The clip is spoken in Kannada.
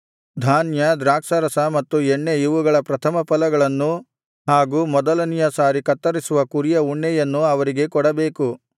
ಧಾನ್ಯ ದ್ರಾಕ್ಷಾರಸ ಮತ್ತು ಎಣ್ಣೆ ಇವುಗಳ ಪ್ರಥಮಫಲಗಳನ್ನು ಹಾಗೂ ಮೊದಲನೆಯ ಸಾರಿ ಕತ್ತರಿಸುವ ಕುರಿಗಳ ಉಣ್ಣೆಯನ್ನೂ ಅವರಿಗೆ ಕೊಡಬೇಕು